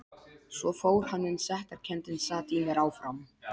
Svo fór hann en sektarkenndin sat í mér áfram.